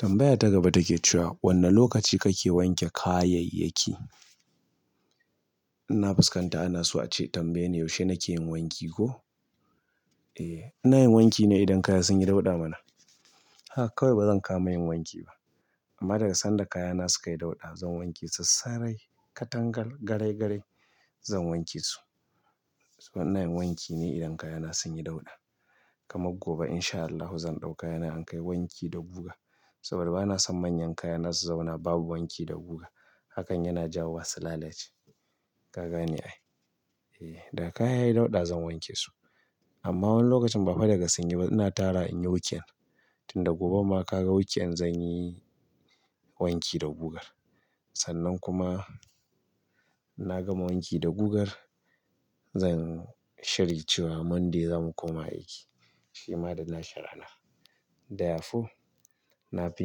Tambaya ta gaba take cewa wanne lokaci kake wanke kayayyaki? Na fuskanta ana so ace, tambaye ni yaushe nake yin wanki ko? Eh, ina yin wanki ne idan kaya sun yi dauɗa mana. Haka kawai bazan kama yin wanki ba. Amma daga sanda kaya na suka yi dauɗa zan wanke su sarai. Katangar garai garai zan wanke su. Saboda ina yin wanki ne idan kaya na sun yi dauɗa. Kamar gobe in sha Allahu zan ɗau kaya na in kai wanki da guga. Saboda bana son manyan kaya na su zauna babu wanki da guga. Hakan yana jawo wa su lalace ka gane ai. Eh, da kaya yayi dauɗa zan wanke su. Amma wani lokacin ba'da daga sanyi ba ina tarawa in yi weekend. Tunda goben ma ka ga weekend zan yi wanki da guga. Sannan kuma na gama wanki da gugar zan shiri cewa Monday zan koma aiki. Shi ma da na shi rana. Ɗaya fu na fi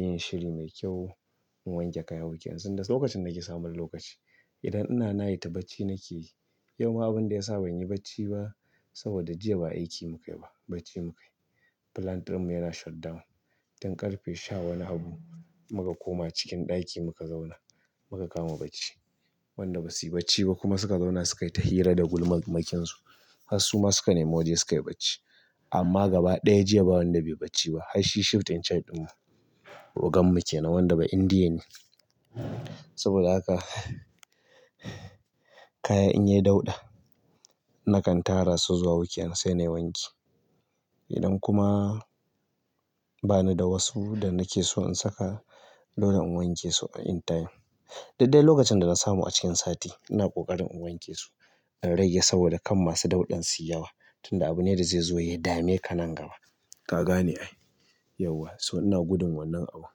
yin shiri mai kyau na wanke kaya weekend tunda lokacin nake samun lokaci. Idan ina night bacci nake yi. Yau ma abinda ya sa ban yi bacci ba saboda jiya ba aiki mukayi ba, bacci mukayi. Plant ɗin mu yana shutdown. Tun ƙarfe sha wani abu muka koma cikin ɗaki muka zauna. Muka kama bacci. Wanda basu yi bacci ba kuma suka zauna suka yi ta hira da gulmarmakinsu. Har su ma suka nemi waje suka yi bacci. Amma gaba ɗaya jiya ba wanda bai bacci ba. Har shi shift in charge ɗin mu. Ogan mu kenan wanda ba Indiye ne. Saboda haka kaya in yayi dauɗa nakan tara su zuwa weekend sai na yi wanki. Idan kuma bani da wasu wanda nake son in saka, dole in wanke su anytime, duk dai lokacin da na samu a cikin sati, ina ƙoƙarin in wanke su in rage saboda kar masu dauɗan suyi yawa. Tunda abu ne da zai zo ya dame ka nan gaba. Gaga ne ai. Yauwa. So ina gudun wannan abu.